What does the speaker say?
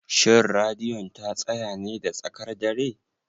Shin Radiyon ta tsaya ne da tsakar dare?